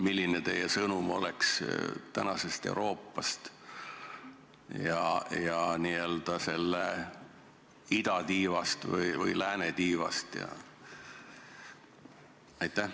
Milline oleks teie sõnum tänase Euroopa ning n-ö selle idatiiva ja läänetiiva kohta?